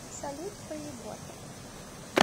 салют поебота